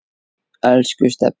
Elsku Stebbi.